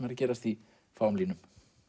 er að gerast í fáum línum